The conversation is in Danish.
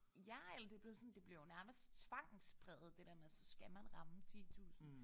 Ja eller det blevet sådan det bliver jo nærmest tvangspræget det der med at så skal man ramme 10000